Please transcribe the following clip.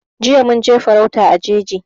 Jiya mun je farauta a jeji